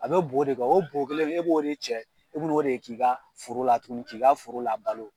A bɛ bo de kɛ o bo kelen e b'o de cɛ e bi n'o de k'i ka foro la tuguni k'i ka foro labalo.